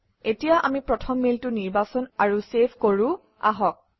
এতিয়া আমি প্ৰথম মেইলটো নিৰ্বাচন আৰু চেভ কৰোঁ আহক